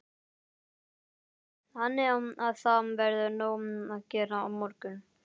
Lillý: Þannig að það verður nóg að gera á morgun?